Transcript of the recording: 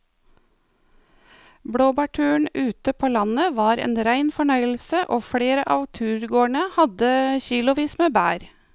Blåbærturen ute på landet var en rein fornøyelse og flere av turgåerene hadde kilosvis med bær.